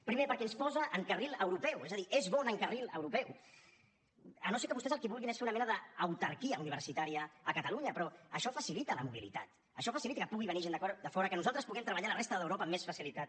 primer perquè ens posa en carril europeu és a dir és bona en carril europeu si no és que vostès el que vulguin és fer una mena d’autarquia universitària a catalunya però això facilita la mobilitat això facilita que pugui venir gent de fora que nosaltres puguem treballar a la resta d’europa amb més facilitat